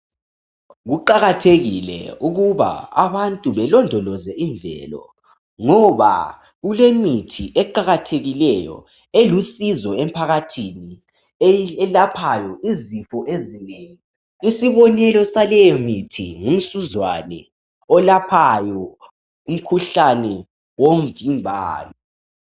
Kuqakathekile ukuba abantu balondoloze imvelo ngoba kulemithi eqakathekileyo, elusizo emphakathini, elaphayo izifo ezinengi, isobonelo saleyo mithi ngumsuzwane, olaphayo umkhuhlane womvimbano.